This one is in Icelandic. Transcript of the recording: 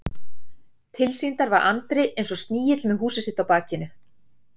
Tilsýndar var Andri eins og snigill með húsið sitt á bakinu.